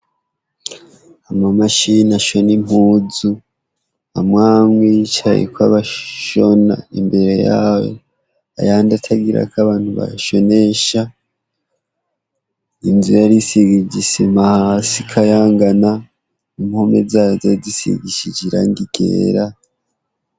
Ama mashini ashoni impuzu amwamwa y'icayeko abashona imbere yawo ayandi atagira ko abantu bashonesha inzu yarisig ijisima hasi kayangana impume zazaydisigishije iranga igera.